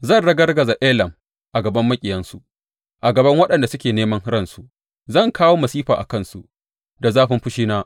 Zan ragargaza Elam a gaban maƙiyansu, a gaban waɗanda suke neman ransu; zan kawo masifa a kansu, da zafin fushina,